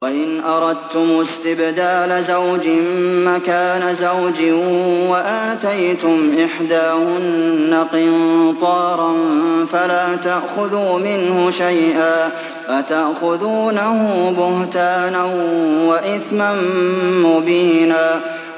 وَإِنْ أَرَدتُّمُ اسْتِبْدَالَ زَوْجٍ مَّكَانَ زَوْجٍ وَآتَيْتُمْ إِحْدَاهُنَّ قِنطَارًا فَلَا تَأْخُذُوا مِنْهُ شَيْئًا ۚ أَتَأْخُذُونَهُ بُهْتَانًا وَإِثْمًا مُّبِينًا